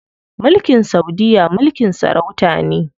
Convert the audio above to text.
Mulkin saudiya mulkin sarauta ne.